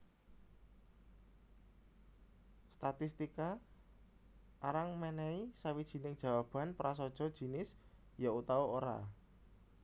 Statistika arang mènèhi sawijining jawaban prasaja jinis ya utawa ora